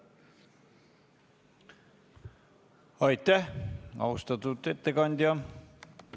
Aitäh, austatud ettekandja!